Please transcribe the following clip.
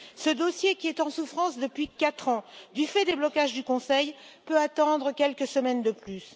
Ce dossier, qui est en souffrance depuis quatre ans du fait des blocages du Conseil, peut attendre quelques semaines de plus.